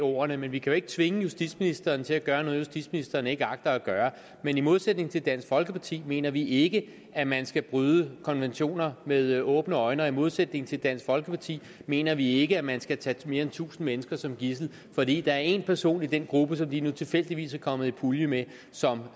ordene men vi kan jo ikke tvinge justitsministeren til at gøre noget justitsministeren ikke agter at gøre men i modsætning til dansk folkeparti mener vi ikke at man skal bryde konventioner med åbne øjne og i modsætning til dansk folkeparti mener vi ikke at man skal tage mere end tusind mennesker som gidsler fordi der er en person i den gruppe som de nu tilfældigvis er kommet i pulje med som